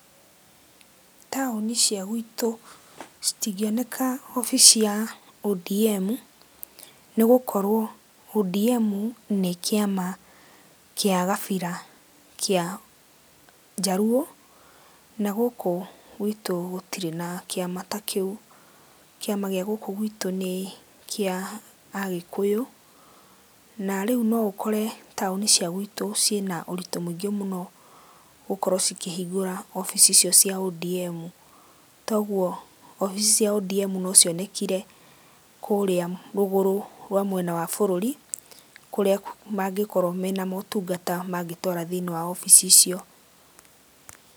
Taũni cia gwitũ, citingioneka obici ya ODM nĩ gũkorwo ODM nĩ kĩama kĩa kabira kĩa gabira kĩa Jaluo, Na gũkũ gwitũ gũtirĩ na kĩama ta kĩũ. Kĩama gĩa gũkũ gwitũ nĩ kĩa Agĩkũyũ na rĩu no ũkore taũni cia gwitũ ciĩ na ũritũ mũingĩ mũno gũkorwo cikĩhingũra obici icio cia ODM. Toguo obici cia ODM no cionekire kũrĩa rũgũrũ rwa mwena wa bũrũri kũrĩa mangĩkorwo mena motungata mangĩtwara thiĩ-inĩ wa obici icio.